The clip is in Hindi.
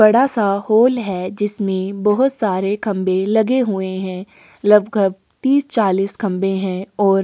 बड़ासा हॉल है जिसमे बहुत सारे खंबे लगे हुए है लगभग तीस चाली खंबे है और --